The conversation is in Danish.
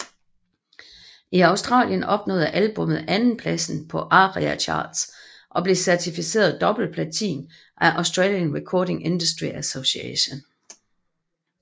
I Australien nåede albummet andenpladsen på ARIA Charts og blev certificeret dobbeltplatin af Australian Recording Industry Association